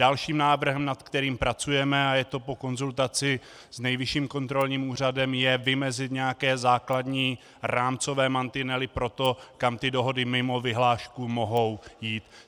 Dalším návrhem, na kterém pracujeme, a je to po konzultaci s Nejvyšším kontrolním úřadem, je vymezit nějaké základní rámcové mantinely pro to, kam ty dohody mimo vyhlášku mohou jít.